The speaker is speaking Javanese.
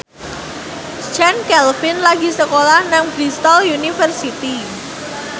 Chand Kelvin lagi sekolah nang Bristol university